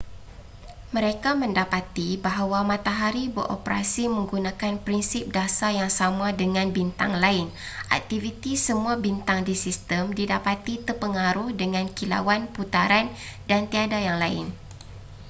mereka mendapati bahawa matahari beroperasi menggunakan prinsip dasar yang sama dengan bintang lain aktiviti semua bintang di sistem didapati terpengaruh dengan kilauan putaran dan tiada yang lain